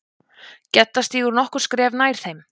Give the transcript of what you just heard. Gedda stígur nokkur skref nær þeim.